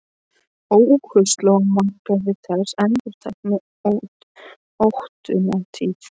Óhug sló á marga við þessi endurteknu ótíðindi.